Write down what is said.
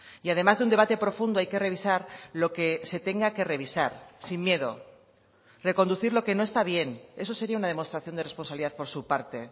y además de un debate profundo hay que revisar lo que se tenga que revisar sin miedo reconducir lo que no está bien eso sería una demostración de responsabilidad por su parte